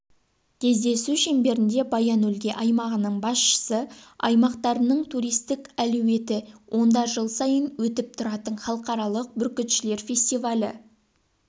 кездесу шеңберінде баян-өлгей аймағының басшысы аймақтарының туристік әлеуеті онда жыл сайын өтіп тұратын халықаралық бүркітшілер фестивалі